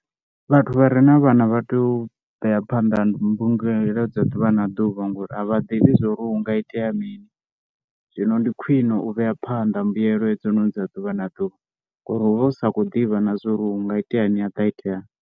Vhathu vha re na vhana vha tea u vhea phanḓa mbulungelo dza ḓuvha na ḓuvha ngori a vha ḓivhi zwo ri hu nga itea mini. Zwino ndi khwine u vhea phanḓa mbuyelo hedzinoni dza ḓuvha na ḓuvha ngori hu vha hu sa khou ḓivha na zwo ri hu nga iteani ha ḓa ha iteani.